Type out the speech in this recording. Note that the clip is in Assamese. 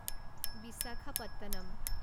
বিচাখাপট্টনম